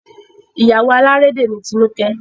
Ìyàwó alárédè ni Tinuke